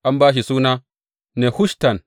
An ba shi suna Nehushtan.